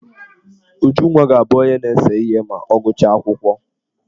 Ujunwa ga-abụ onye na-ese ihe ma ọ gụchaa akwụkwọ.